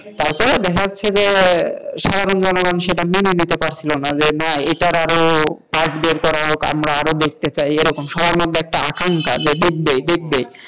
তারপর দেখা যাচ্ছে যে সাধারণ জনগণ সেটা মেনে নিতে পারছিল না যে না এটার আরো part বের করা হোক আমরা আরো দেখতে চাই এইরকম সবার মধ্যে একটা আকাঙ্ক্ষা যে দেখবে দেখবে,